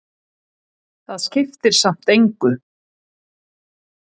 Það skiptir samt engu,